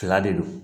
Fila de don